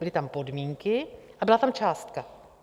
Byly tam podmínky a byla tam částka.